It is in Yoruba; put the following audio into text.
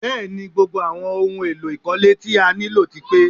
Bẹ́ẹ̀ni, gbogbo àwọn ohun èlò ìkọ́lé tí a nílò ti pé